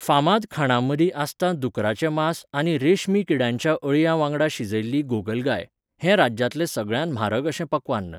फामाद खाणांमदीं आसता दुकराचें मांस आनी रेशमी किड्यांच्या अळयां वांगडा शिजयल्ली गोगलगाय, हें राज्यांतलें सगळ्यांत म्हारग अशें पक्वान्न.